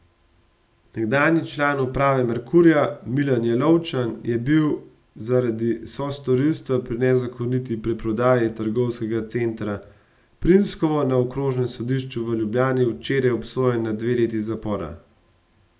Nekdanji član uprave Merkurja Milan Jelovčan je bil zaradi sostorilstva pri nezakoniti preprodaji trgovskega centra Primskovo na okrožnem sodišču v Ljubljani včeraj obsojen na dve leti zapora.